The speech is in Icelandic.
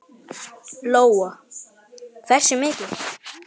Lóa: Hversu mikil?